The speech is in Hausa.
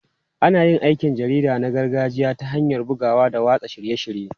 Ana yin aikin jarida na gargajiya ta hanyar bugawa da watsa shirye-shirye.